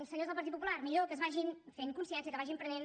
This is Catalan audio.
senyors del partit popular millor que vagin fent consciència que vagin prenent